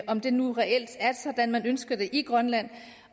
om det nu reelt er sådan man ønsker det i grønland